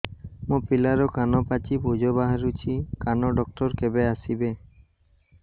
ମୋ ପିଲାର କାନ ପାଚି ପୂଜ ବାହାରୁଚି କାନ ଡକ୍ଟର କେବେ ଆସିବେ